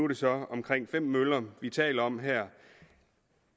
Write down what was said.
det så omkring fem møller vi taler om her